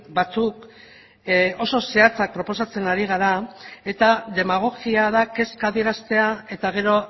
batzuk oso zehatzak proposatzen ari gara eta demagogia da kezka adieraztea eta gero